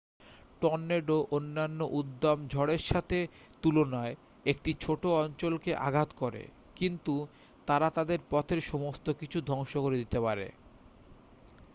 tornado অন্যান্য উদ্দাম ঝড়ের সাথে তুলনায় একটি ছোট্ট অঞ্চলকে আঘাত করে কিন্তু তারা তাদের পথের সমস্ত কিছু ধ্বংস করে দিতে পারে